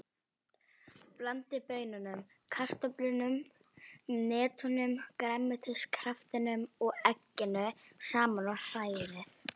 Blandið baununum, kartöflunum, hnetunum, grænmetiskraftinum og egginu saman og hrærið.